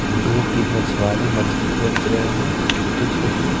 दो-तीन मछवारे मछली बेच रहे हैं छोटे-छोटी।